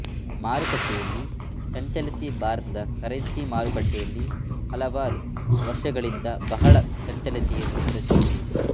ಮಾರುಕಟ್ಟೆಯಲ್ಲಿ ಚಂಚಲತೆ ಭಾರತದ ಕರೆನ್ಸಿ ಮಾರುಕಟ್ಟೆಯಲ್ಲಿ ಹಲವ್ವರು ವರ್ಶಗಳಿಂದಬಹಳಾ ಚಂಚಲತೆಯನ್ನು ಪ್ರದರ್ಶಿಸಿದೆ